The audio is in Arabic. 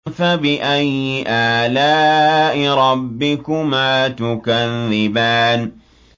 فَبِأَيِّ آلَاءِ رَبِّكُمَا تُكَذِّبَانِ